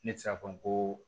Ne tɛ se k'a fɔ n ko